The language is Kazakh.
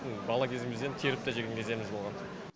бала кезімізден теріп те жеген кездеріміз болған